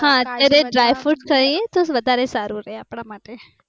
હા અત્યારે ડ્રાયફ્રુટ ખાઈએ તો વધારે સારુ રહે આપડા માટે.